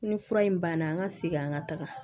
Ni fura in banna an ka segin an ka taga